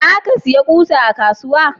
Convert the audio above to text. za ka saya ƙusa a kasuwa?